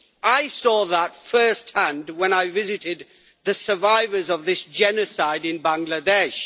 I saw that first-hand when I visited the survivors of this genocide in Bangladesh.